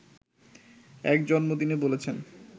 এক জন্মদিনে বলেছেন